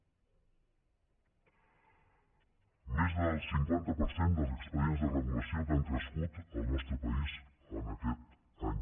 més del cinquanta per cent dels expedients de regulació que han crescut al nostre país en aquest any